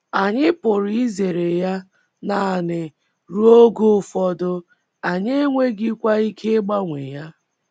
Anyị pụrụ izere ya nanị ruo oge ụfọdụ, anyị enweghịkwa ike ịgbanwe ya.